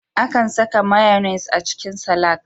Akan saka mayonaise a cikin salak.